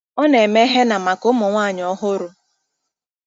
Ọ na-eme henna maka ụmụ nwanyị ọhụrụ.